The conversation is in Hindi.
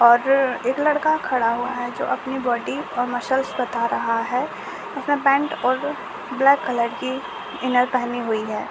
और एक लड़का खड़ा हुआ है जो अपनी बोडी और मशलस बता रहा है उसने पेंट और ब्लैक कलर इनर पहनी हुई है।